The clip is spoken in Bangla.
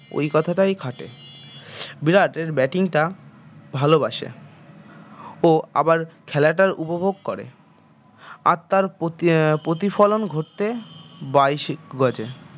ওই কথাটাই খাটে বিরাট এর bating টা ভালবাসে ও আবার খেলাটা উপভোগ করে আর তার প্রতি আহ প্রতিফলন ঘটতে